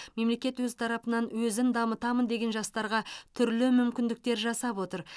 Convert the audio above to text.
мемлекет өз тарапынан өзін дамытамын деген жастарға түрлі мүмкіндіктер жасап отыр